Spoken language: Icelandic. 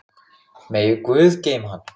Megi góður guð geyma hann.